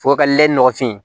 Fo ka lɛ nɔgɔfin